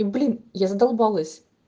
блин я задолбалась